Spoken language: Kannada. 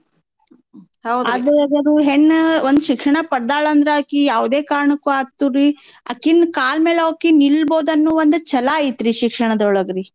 ಹೆಣ್ಣೂಒಂದ್ ಶಿಕ್ಷಣ ಪಡ್ದಾಳ್ ಅಂದ್ರ ಅಕಿ ಯಾವ್ದೇ ಕಾರ್ನಕ್ಕೂ ಆತುರೀ ಅಕಿನ್ ಕಾಲ್ ಮೇಲ್ ಅಕಿ ನಿಲ್ಬೋದ್ ಅನ್ನೋ ಒಂದ್ ಛಲಾ ಐತ್ರೀ ಶಿಕ್ಷಣ್ದೋಳ್ಗ್ರೀ.